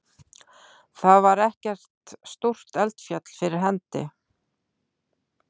Þar var ekkert stórt eldfjall fyrir hendi.